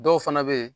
Dɔw fana bɛ yen